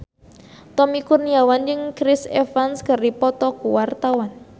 Tommy Kurniawan jeung Chris Evans keur dipoto ku wartawan